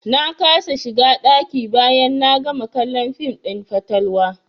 Na kasa shiga ɗaki bayan na gama kallon fim ɗin fatalwa.